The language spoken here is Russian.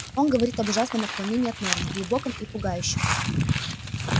он говорит об ужасном отклонении от нормы глубоком и пугающем